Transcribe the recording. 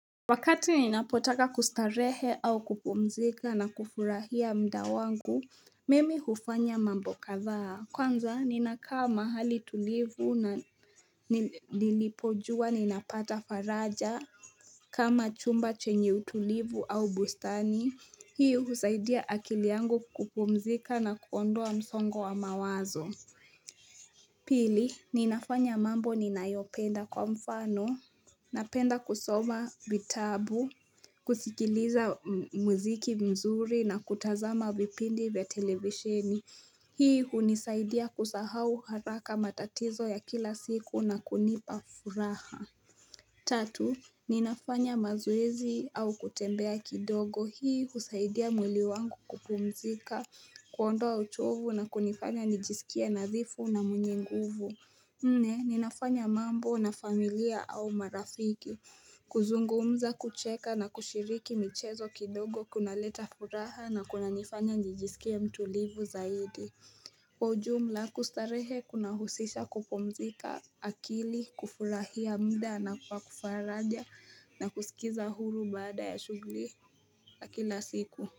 Wakati ninapotaka kustarehe au kupumzika na kufurahia muda wangu, mimi hufanya mambo kadhaa, kwanza ninakaa mahali tulivu na nilipojua ninapata faraja, kama chumba chenye utulivu au bustani, hii huzaidia akili yangu kupumzika na kuondoa msongo wa mawazo. Pili, ninafanya mambo ninayopenda kwa mfano, napenda kusoma vitabu. Kusikiliza muziki mzuri na kutazama vipindi vya televisheni Hii hunisaidia kusahau haraka matatizo ya kila siku na kunipa furaha Tatu, ninafanya mazoezi au kutembea kidogo. Hii husaidia mwili wangu kupumzika kuondoa uchovu na kunifanya nijisikie nazifu na mwenye nguvu Nne, ninafanya mambo na familia au marafiki kuzungumza kucheka na kushiriki michezo kidogo kuna leta furaha na kuna nifanya njijisikia mtulivu zaidi Kwa ujumla kustarehe kuna husisha kupomzika akili kufurahia muda na kwa kufaraja na kusikiza huru baada ya shughuli ya kila siku.